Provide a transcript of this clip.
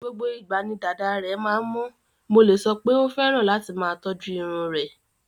Gbogbo ìgbà ni dàda rẹ̀ máa ń mọ́, mo lè sọ pé ó fẹ́ràn láti máa tọ́jú irun rẹ̀.